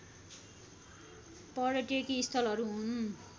पर्यटकीय स्थलहरू हुन्